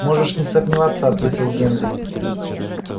можешь не сомневаться ответил генри